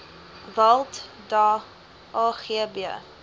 walt da agb